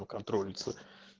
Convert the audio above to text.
контрольный